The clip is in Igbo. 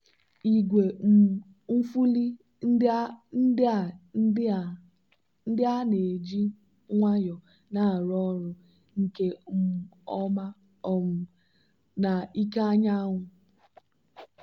igwe um nfuli ndị a ndị a na-eji nwayọ na-arụ ọrụ nke um ọma um na ike anyanwụ.